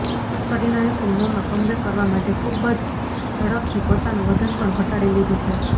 કરિનાએ ફિલ્મોમાં કમબેક કરવા માટે ખૂબ જ ઝડપથી પોતાનુ વજન પણ ઘટાડી લીધુ છે